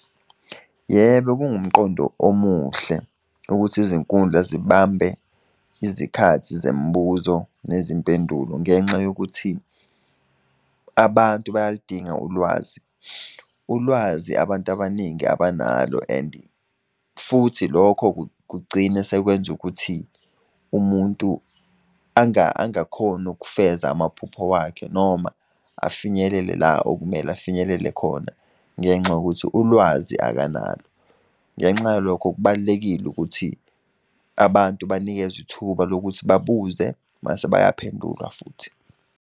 Yebo kungumqondo omuhle, ukuthi izinkundla zibambe izikhathi zemibuzo nezimpendulo ngenxa yokuthi abantu bayalidinga ulwazi. Ulwazi abantu abaningi abanalo and futhi lokho kugcine sekwenza ukuthi umuntu angakhoni ukufeza amaphupho wakhe, noma afinyelele la okumele afinyelele khona, ngenxa yokuthi ulwazi akanalo. Ngenxa yalokho kubalulekile ukuthi, abantu banikezwe ithuba lokuthi babuze mase bayaphendulwa futhi.